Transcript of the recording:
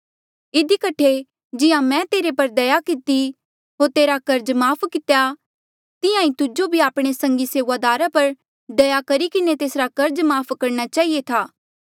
इधी कठे जिहां मैं तेरे पर दया किती होर तेरा कर्ज माफ़ कितेया तिहां ईं तुजो भी आपणे संगी सेऊआदारा पर दया करी किन्हें तेसरा कर्ज माफ़ करणा चहिए था